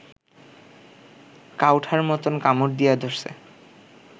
কাউঠার মতন কামুর দিয়া দরছে